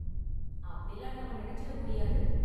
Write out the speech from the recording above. அப்படிலாம் நாம நெனைச்சிட முடியாது.